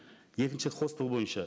екінші хостел бойынша